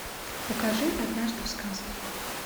покажи однажды в сказке